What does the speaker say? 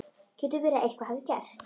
getur verið að eitthvað hafi gerst.